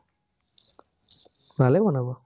ভালেই বনাব।